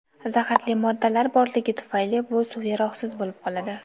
zaharli moddalar borligi tufayli bu suv yaroqsiz bo‘lib qoladi.